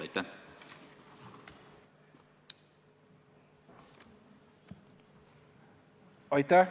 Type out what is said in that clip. Aitäh!